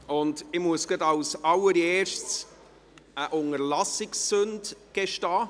Als Erstes muss ich eine Unterlassungssünde gestehen: